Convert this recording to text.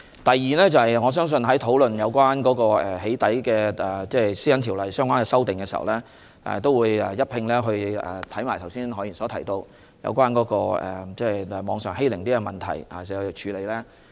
第二，我相信在討論對《私隱條例》作出針對"起底"情況的相關修訂時，也會一併研究何議員剛才提及網上欺凌的問題。